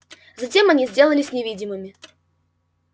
затем они сделались невидимыми